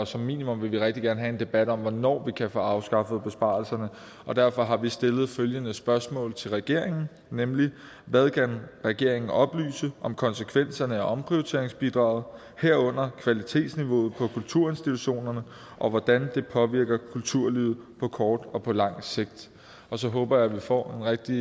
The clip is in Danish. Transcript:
som minimum vil vi rigtig gerne have en debat om hvornår vi kan få afskaffet besparelserne og derfor har vi stillet følgende spørgsmål til regeringen hvad kan regeringen oplyse om konsekvenserne af omprioriteringsbidraget herunder kvalitetsniveauet på kulturinstitutionerne og hvordan det påvirker kulturlivet på kort og på langt sigt så håber jeg vi får en rigtig